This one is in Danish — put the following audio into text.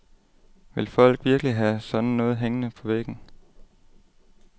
Vil folk virkelig have sådan noget hængende på væggen.